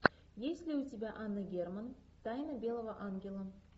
есть ли у тебя анна герман тайна белого ангела